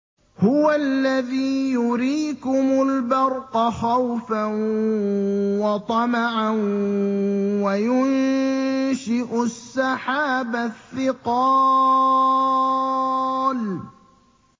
هُوَ الَّذِي يُرِيكُمُ الْبَرْقَ خَوْفًا وَطَمَعًا وَيُنشِئُ السَّحَابَ الثِّقَالَ